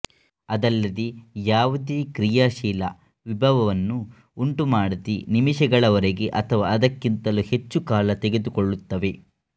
ಅದಲ್ಲದೇ ಯಾವುದೇ ಕ್ರಿಯಾಶೀಲ ವಿಭವವನ್ನು ಉಂಟುಮಾಡದೆ ನಿಮಿಷಗಳವರೆಗೆ ಅಥವಾ ಅದಕ್ಕಿಂತಲೂ ಹೆಚ್ಚು ಕಾಲ ತೆಗೆದುಕೊಳ್ಳುತ್ತವೆ